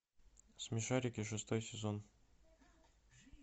смешарики шестой сезон